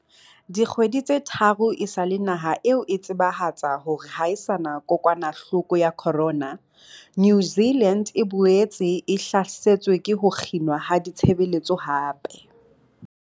Dikgwedi tse tharo esale naha eo e tsebahatsa hore ha e sa na kokwanahloko ya corona, New Zealand e boetse e hlasetswe ke ho kginwa ha ditshebeletso hape.